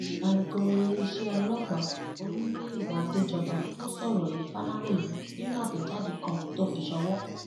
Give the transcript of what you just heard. alūkóríléeṣẹ ọlọpàá olùmúyẹwá àdéjọba ló sọrọ yìí faláròyé nínú àtẹjáde kan tó fi ṣòwò